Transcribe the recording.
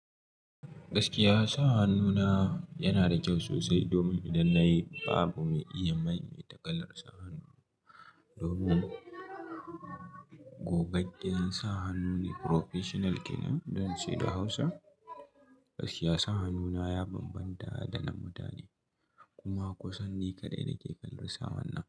Gaskiya sa hannu na yana da kyau sosai domin idan na yi babu mai iya maimaita kalar sa hannu. Domin gogaggiyar sa hannu ne professional kenan don ce da Hausa, gaskiya sa hannu na ya bambanta da na mutane kuma kusan ni kaɗai nake kalar sa hannun.